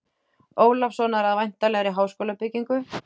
Ólafssonar að væntanlegri háskólabyggingu.